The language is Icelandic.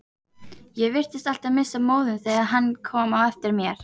Ég virtist alltaf missa móðinn þegar hann kom á eftir mér.